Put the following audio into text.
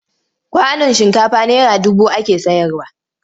Kwanon shinkafa naira dubu ake sayarwa.